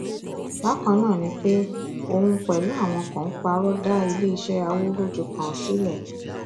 bákan náà ni pé òun pẹlú àwọn kan parọ dá iléeṣẹ awúrúju kan sílẹ